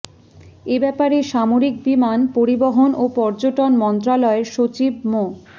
এ ব্যাপারে সামরিক বিমান পরিবহন ও পর্যটন মন্ত্রণালয়ের সচিব মো